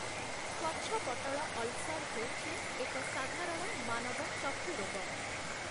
ସ୍ୱଚ୍ଛପଟ୍ଟଳ ulcer‍ ହେଉଛି, ଏକ ସାଧାରଣ ମାନବ ଚକ୍ଷୁ ରୋଗ ।